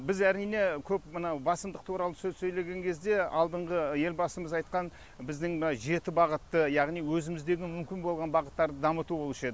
біз әрине көп мынау басымдық туралы сөз сөйлеген кезде алдыңғы елбасымыз айтқан біздің мына жеті бағытты яғни өзіміздегі мүмкін болған бағыттарды дамыту болушы еді